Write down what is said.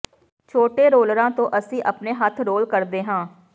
ਛੋਟੇ ਰੋਲਰਾਂ ਤੋਂ ਅਸੀਂ ਆਪਣੇ ਹੱਥ ਰੋਲ ਕਰਦੇ ਹਾਂ